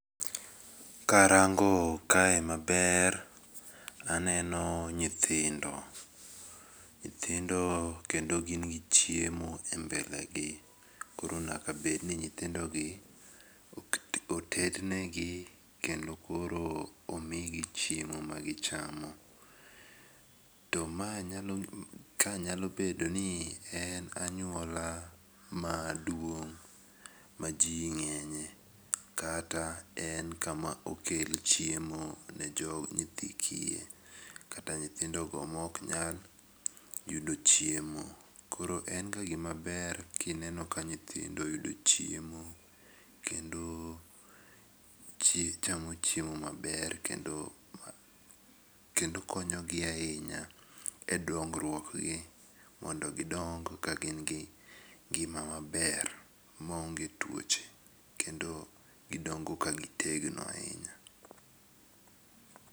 Karango kae maber to aneno nyithindo, nyithindo kendo gin gi chiemo e mbele gi koro nyaka bed ni nyithindogie otednegi kendo koro omigi chiemo magichamo, to ma ka nyalo bedo ni en anyuola maduong' maji ng'enye kata en kama okel chiemo ne nyithi kiye kata nyithindogo ma ok nyal yudo chiemo, koro en ga gimaber ka iyudo ka nyithindo yudo chiemo kendo chamo chiemo maber kendo, kendo konyogi ahinya e dongruok gi mondo gidong ka gin gi ng'ima maber maonge tuoche kendo gidongo ka gi tegno ahinya